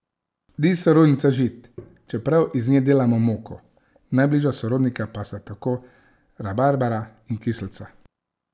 Ni sorodnica žit, čeprav iz nje delamo moko, najbližja sorodnika pa sta tako rabarbara in kislica.